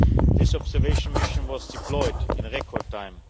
This observation mission was deployed in record time.